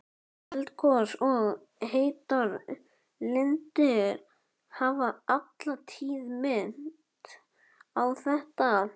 Eldgos og heitar lindir hafa alla tíð minnt á þetta.